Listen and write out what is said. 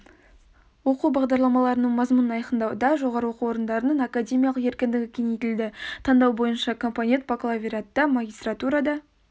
оқу бағдарламаларының мазмұнын айқындауда жоғары оқу орындарының академиялық еркіндігі кеңейтілді таңдау бойынша компонент бакалавриатта магистратурада